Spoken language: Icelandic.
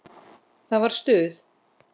Það var stuð!